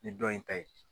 Nin dɔ in ta ye